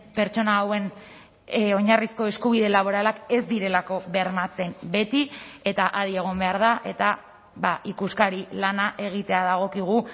pertsona hauen oinarrizko eskubide laboralak ez direlako bermatzen beti eta adi egon behar da eta ikuskari lana egitea dagokigu